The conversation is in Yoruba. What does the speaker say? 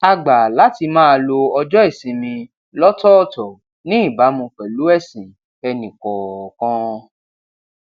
a gbà láti máa lo ọjó ìsinmi lótòòtò ní ìbámu pèlú èsìn ẹnì kòòkan